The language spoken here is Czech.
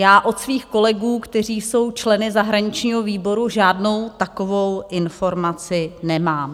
Já od svých kolegů, kteří jsou členy zahraničního výboru, žádnou takovou informaci nemám.